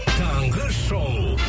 таңғы шоу